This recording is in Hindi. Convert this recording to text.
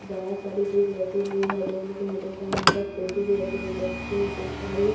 बहुत सारी चीज रखी हुई है जैसे की मैं देख पा रही हूँ यहाँ पर फ्रूटी भी रखी हुई है जैसे की मैं देख पा रही हूँ --